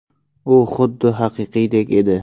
U xuddi haqiqiydek edi!